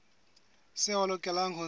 seo a lokelang ho se